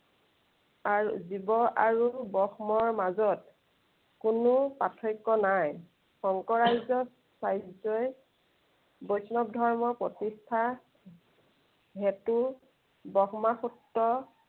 আৰু জীৱ আৰু ব্ৰহ্মৰ মাজত, কোন প্ৰাৰ্থক্য় নাই। শংকৰাজ্য় চাৰ্যই বৈষ্ণৱ ধৰ্মৰ প্ৰতিষ্ঠাৰ হেতু ব্ৰহ্ম সূত্ৰ